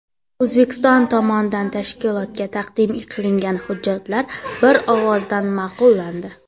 O‘zbekiston tomonidan tashkilotga taqdim qilingan hujjatlar bir ovozdan ma’qullandi.